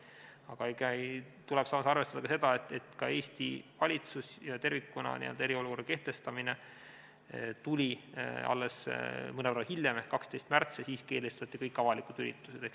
Aga ikkagi tuleks taas arvestada ka seda, et Eesti valitsuse poolt eriolukorra kehtestamine tuli alles mõnevõrra hiljem ehk 12. märtsil ja siis keelustati kõik avalikud üritused.